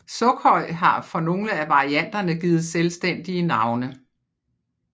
Sukhoj har for nogle af varianterne givet selvstændige navne